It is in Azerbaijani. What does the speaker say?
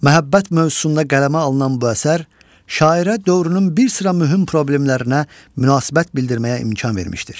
Məhəbbət mövzusunda qələmə alınan bu əsər şairə dövrün bir sıra mühüm problemlərinə münasibət bildirməyə imkan vermişdir.